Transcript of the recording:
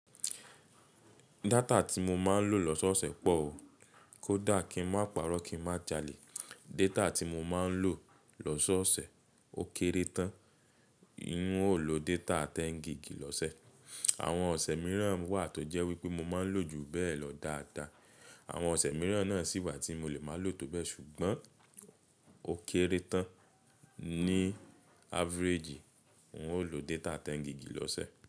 Data tí mo máa ń lò lọ́sọ́ọ̀sẹ̀ pọ̀ o. Kódà kí ń má parọ́ kí ń má jalè, data tí mo máa ń lò lọ́sọ́ọ̀sẹ̀ ó kéré tán. N óò lo data tẹ́ni giìgì lọ́sẹ̀. Àwọn ọ̀sẹ̀ mìíràn wà tó jẹ́ wípé mo máa ń lò ju bẹ́ẹ̀ lọ dáadáa. Àwọn ọ̀sẹ̀ mìíràn náà sì wà tí mo lè máa lò tó bẹ́ẹ̀ ṣùgbọ́n ó kéré tán. Ni average, n óò lo data tẹ́n gigì lọ́sẹ̀